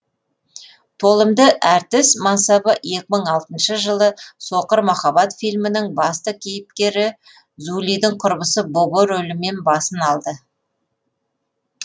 толымды әртіс мансабы екі мың алтыншы жылы соқыр махаббат филімінің басты кейіпкері зулидің құрбысы бобо рөлімен басын алды